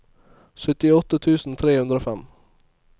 syttiåtte tusen tre hundre og fem